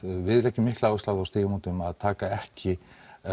við leggjum mikla áherslu á það hjá Stígamótum að taka ekki